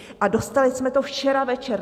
A dostali jsme to včera večer.